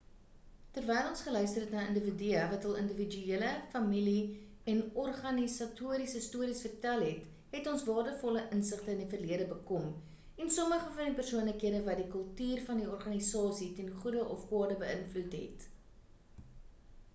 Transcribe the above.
terwyl ons geluister het na individue wat hul individuele familie en organisatoriese stories vertel het het ons waardevolle insigte in die verlede bekom en sommige van die persoonlikhede wat die kultuur van die organisasie ten goede of kwade beïnvloed het